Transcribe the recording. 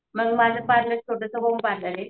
मला माझा स्वतःचा होम पार्लर आहे.